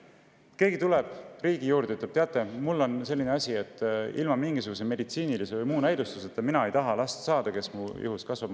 Keegi riigi poole ja ütleb: "Teate, mul on selline asi, et – ilma mingisuguse meditsiinilise või muu näidustuseta – mina ei taha last saada, kes mu ihus kasvab.